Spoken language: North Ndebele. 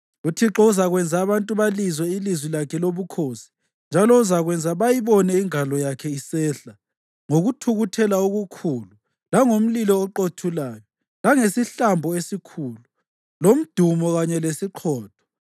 UThixo uzakwenza abantu balizwe ilizwi lakhe lobukhosi, njalo uzakwenza bayibone ingalo yakhe isehla ngokuthukuthela okukhulu langomlilo oqothulayo, langesihlambo esikhulu, lomdumo kanye lesiqhotho.